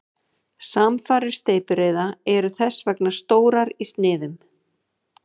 Samfarir steypireyða eru þess vegna stórar í sniðum.